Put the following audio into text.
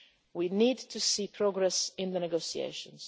We need to see progress in the negotiations.